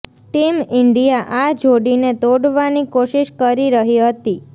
team India આ જોડીને તોડવાની કોશિશ કરી રહી હતી